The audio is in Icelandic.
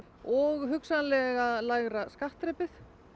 og hugsanlega lægra skattþrepið